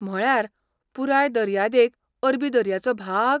म्हळ्यार, पुराय दर्यादेग अरबी दर्याचो भाग?